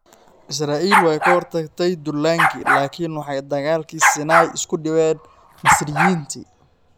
Israa'iil way ka hortagtay duullaankii laakiin waxay dagaalkii Siinay isku dhiibeen Masriyiintii.